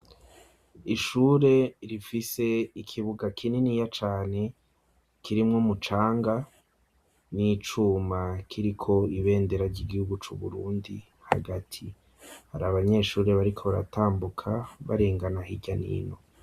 Ishure rifise ikibuga kininiya cane kirimwo umucanga n'icuma kiriko ibendera ry'igihugu c'u Burundi hagati, hari abanyeshure bariko baratambuka barengana hirya n'ino.